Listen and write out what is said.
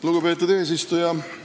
Lugupeetud eesistuja!